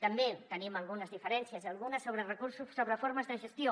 també tenim algunes diferències algunes sobre recursos sobre formes de gestió